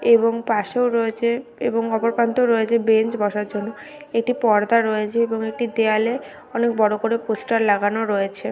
এবং পাশেও রয়েছে এবং অপর প্রান্তেও রয়েছে বেঞ্চ বসার জন্য একটি পর্দা রয়েছে এবং একটি দেয়ালে অনেক বড়ো করে পোস্টার লাগানো রয়েছে।